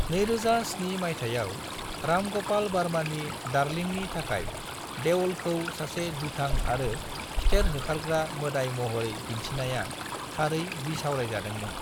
2007 माइथायाव, राम ग'पाल बार्मानि डार्लिंनि थाखाय देवलखौ सासे दुथां आरो खिथेर होखारग्रा मोदाय महरै दिन्थिनाया थारै बिसावरायजादोंमोन।